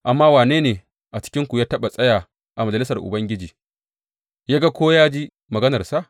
Amma wane ne a cikinsu ya taɓa tsaya a majalisar Ubangiji yă ga ko ya ji maganarsa?